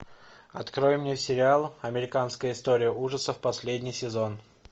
открой мне сериал американская история ужасов последний сезон